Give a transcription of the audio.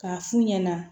K'a f'u ɲɛna